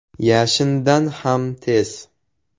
“Yashindan ham tez”.